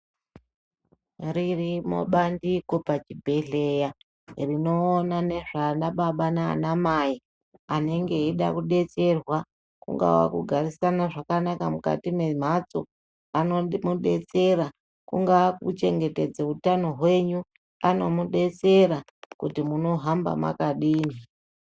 Ririrmo bandiko pachibhehleya rinoona nezveanababa naanamai anenge eida kudetserwa, kungava kugarisana zvakanaka mukati memhatso, vanomudetsera. Kungaa kuchengetedze utano hwenyu, anomudetsera kuti munohamba mwakadini.